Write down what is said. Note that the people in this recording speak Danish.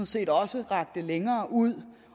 set også rakte længere ud